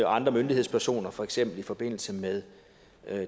andre myndighedspersoner for eksempel i forbindelse med